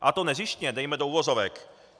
A to nezištně dejme do uvozovek.